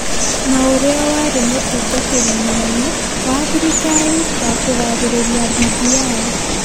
na ũrĩa warĩ mũtungatĩri mũnene wa thirikari wa kũgathĩrĩria BBI.